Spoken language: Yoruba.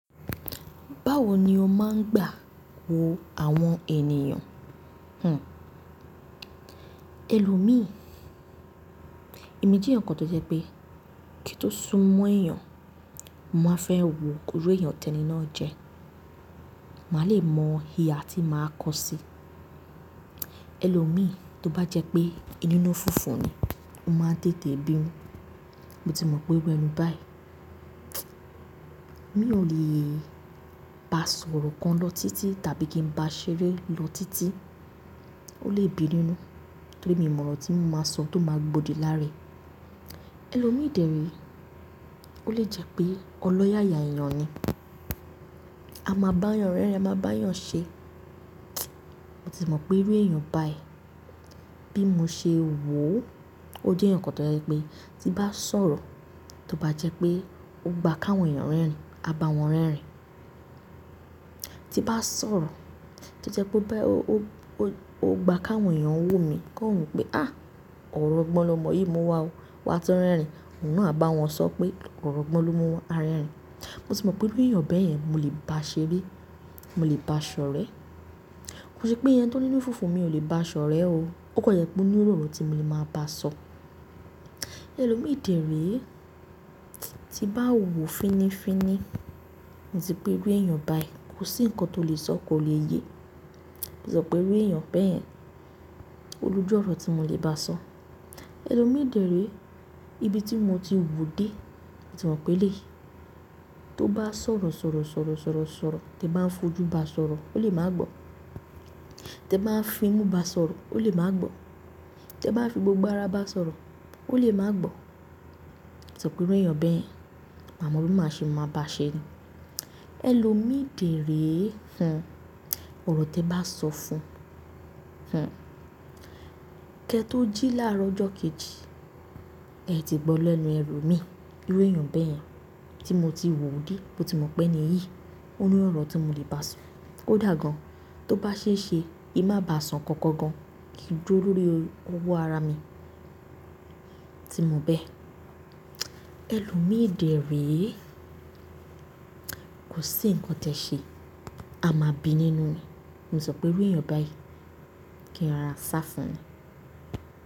Báwo ni o máa ń gbà wo àwọn ènìyàn? Uh. Élòmi, èmi jẹ́ ǹkan tó jẹ́ pé kí n tó sún mọ́ èèyàn, mo máa fẹ́ wo irú èèyàn tẹ́ni náà jẹ. Màá lè mọ ihà tí màá kọ sí. Élòmi, tó bá jẹ́ pé inú nú funfun ni, ó máa ń tètè bínu. Mo ti mọ̀ pé iru eni báyìí. Mi ò lè bá a sọ̀rọ̀ kan lọ títí tàbí kí n bá a ṣeré lọ títí. Ó lè bi nínú, tori mi o mọ̀ ọ̀rọ̀ tí n máa sọ tó máa gbodi lára rẹ̀. Élòmi dèré, ó lè jẹ́ pé ọlọ́yàyà èèyàn ni. A máa bá èèyàn rẹ́rìn, a máa bá èèyàn ṣe. Mo ti mọ̀ pé irú èèyàn báyìí, bí mo ṣe wò ó, ó jẹ́ ǹkan tó jẹ́ pé tí bá ń sọ̀rọ̀, tó bá jẹ́ pé ó gba káwọn èèyàn rẹ́rìn, a bá wọn rẹ́rìn. Tí bá ń sọ̀rọ̀, tí jẹ́ pé ó bá-- ó gba káwọn èèyàn wò mi, kó wùn pé "à, ọ̀rọ̀ gbọ́n lo mọ̀ yìí mú wá ó, wà á tó rẹ́rìn." Òun á bá wọn sọ pé ọ̀rọ̀ gbọ́n lo mú wá, a rẹ́rìn. Mo si mọ̀ pé irú èèyàn bẹ́ẹ̀ yẹn, mo lè bá a ṣeré, mo lè bá a sọ̀rọ̀. Kò sí pé ẹni tí oni inú fufu, mi ò lè bá a sọ̀re o. Ókan jẹ pé ó ní iru ọ̀rọ̀ tí mo lè máa bá a sọ. Élòmi dèré, tí n bá wò fínnífínní, mo ti pé irú èèyàn báyìí, kò sí ǹkan tó lè sọ kó lè yé. Mo sọ pé irú èèyàn bẹ́ẹ̀ yẹn, o ló jọ̀rọ̀ tí mo lè bá a sọ. Élòmi dèré, ibi tí mo ti wò dé, mo ti mọ̀ pé léyìí, tó bá ń sọ̀rọ̀, sọ̀rọ̀, sọ̀rọ̀, sọ̀rọ̀, sọ̀rọ̀, tí ẹ bá ń fojú bá a sọ̀rọ̀, ó lè máa gbọ́. Tí ẹ bá fi imú bá a sọ̀rọ̀, ó lè máa gbọ́. Tí ẹ bá fi gbogbo ara bá a sọ̀rọ̀, ó lè máa gbọ́. Mo ti mọ pé irú èèyàn bẹ́ẹ̀ yẹn, màá mọ̀ bí màá ṣe máa bá a ṣe. Élòmi dèré, ọ̀rọ̀ tí ẹ bá sọ fún un, kẹ́ tó jí láàárọ̀ ọjọ́ kejì, ẹ ti gbọ́ lẹ́nu ẹlo mi. Irú èèyàn bẹ́ẹ̀ yẹn tí mo ti wò dí, mo ti mọ̀ pé níyìí, ó ní ọ̀rọ̀ tí mo lè bá a sọ. Kodà gan, tó bá ṣe é ṣe, ki n má bá a sọ nǹkan kan gan, kí durọ́ lóri ọwọ́ ara mi, tí mo bẹ́. Élòmi dèré, kò sí ǹkan te ṣe, a máa bi nínú ni. Mo si mo pé irú èèyàn báyìí kì í rora sá fún ni.